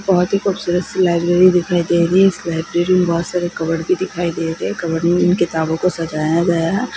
बहुत ही खूबसूरत सी लाइब्रेरी दिखाई दे रही है इस लाइब्रेरी मे बहुत सारे कबड भी दिखाई दे रहे है कबड मे इन किताबों को सजाया गया है ।